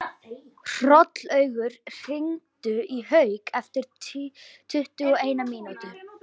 Hrollaugur, hringdu í Hauk eftir tuttugu og eina mínútur.